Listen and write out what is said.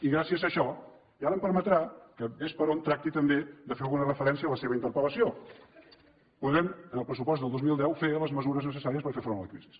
i gràcies a això i ara em permetrà que ves per on tracti també de fer alguna referència a la seva interpellació podrem en el pressupost del dos mil deu fer les mesures necessàries per fer front a la crisi